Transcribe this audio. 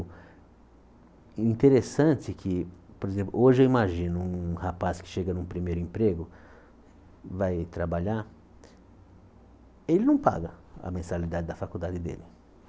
E interessante que, por exemplo, hoje eu imagino um rapaz que chega num primeiro emprego, vai trabalhar, ele não paga a mensalidade da faculdade dele.